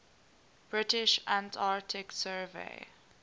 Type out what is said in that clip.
british antarctic survey